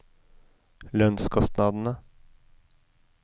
lønnskostnadene